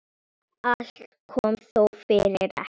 Allt kom þó fyrir ekki.